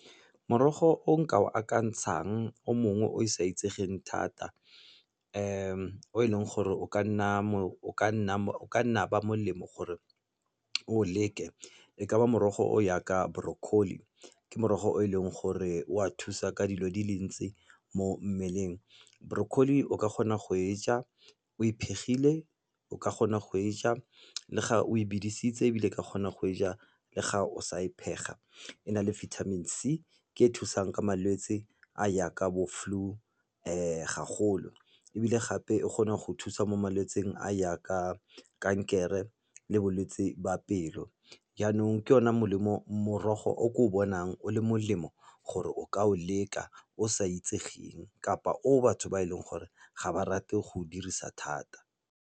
Morogo o nka o akantshang o mongwe o sa itsegeng thata o e leng gore o ka nna ba molemo gore o leke e ka ba morogo o jaaka brocolli. Ke morogo o e leng gore wa thusa ka dilo di le ntsi mo mmeleng. Brocolli o ka kgona go e ja o e phegile o ka kgona go e ja le ga o e bidisitse, ebile o ka kgona go e ja le ga o sa e phega. E na le bithamini C, ke e thusang ka malwetse a jaaka bo flu ga golo. Ebile gape e kgona go thusa mo malwetsing a jaaka kankere le bolwetse ba pelo. Jaanong ke ona morogo o ko o bonang o le molemo gore o ka o leka o sa itsegeng kapa o batho ba e leng gore ga ba rate go dirisa thata.